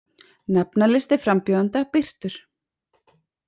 Nafnalisti frambjóðenda birtur